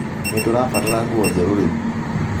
Nĩtũrabatara nguo njerũ rĩu